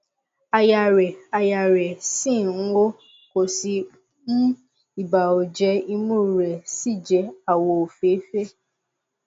àyà rẹ àyà rẹ ṣì ń hó kò sí um ibà oje imú rẹ sì jẹ àwọ òféèfé